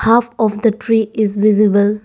Half of the tree is visible.